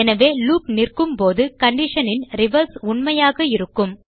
எனவே லூப் நிற்கும்போது condition ன் ரிவர்ஸ் உண்மையாக இருக்கும்